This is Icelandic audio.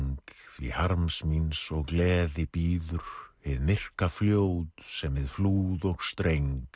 því harms míns og gleði bíður hið myrka fljót sem við flúð og streng